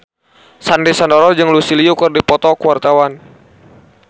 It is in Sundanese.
Sandy Sandoro jeung Lucy Liu keur dipoto ku wartawan